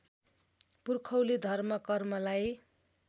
पुर्खौली धर्म कर्मलाई